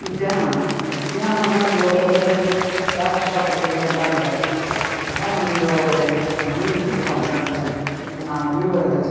ಉದ್ಯಾನವನ ಉದ್ಯಾನವನದ ಒಳಗಡೆ ಯಾಕ ಇಷ್ಟ ಪಡತ್ತಿವಿ ಅಂತ ಅಂದ್ರೆ ಉದ್ಯಾನವನದ ಒಳಗಡೆ ಮನಿ ಇತ್ತಪ್ಪ ಅಂತ ಅಂದ್ರೆ ಆ ಮನಿ ಒಳಗ್--